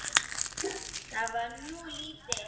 Það var nú lítið.